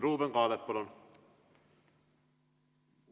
Ruuben Kaalep, palun!